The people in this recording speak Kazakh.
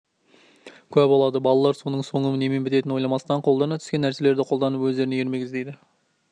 куә болады балалар оның соңы немен бітетінін ойламастан қолдарына түскен нәрселерді қолданып өздеріне ермек іздейді